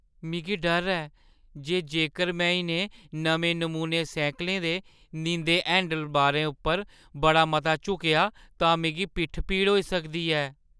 मिगी डर ऐ जे जेकर मैं इ'नें नमें-नमूने सैह्कलें दे नींदे हैंडलबारें उप्पर बड़ा मता झुकेआ तां मिगी पिट्ठ पीड़ होई सकदी ऐ।